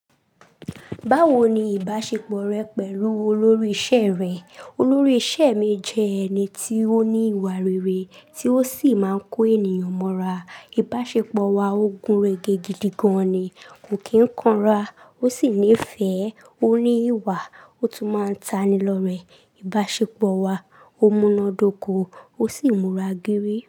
Báwo ni ìbáṣepọ̀ rẹ pẹ̀lú olórí iṣẹ́ rẹ? Olórí iṣẹ́ mi jẹ́ ẹni tí ó ní ìwà rere tí ó sì máa ń kó ènìyàn mọ́ra. Ìbáṣepọ̀ wa o gun regé gidi gan ni, kò kí ń kanra. Ó sì nífẹ̀ẹ́, ó ní ìwà, ó tún máa ń tani lọ́rẹ̀ẹ́. Ìbáṣepọ̀ wa o múná dóko o sì múra gére.